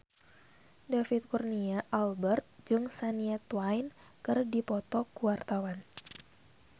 David Kurnia Albert jeung Shania Twain keur dipoto ku wartawan